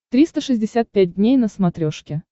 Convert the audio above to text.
триста шестьдесят пять дней на смотрешке